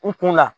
N kun la